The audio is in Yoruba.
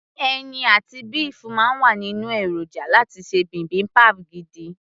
ẹyin àti béèfù máa ń wà nínú èròjà láti ṣe bibimbap gidi